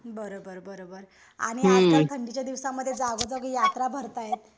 बरो बर बरो बर. आणि आजकाल थंडीच्या दिवसामध्ये जागोजागी यात्रा भरत आहेत.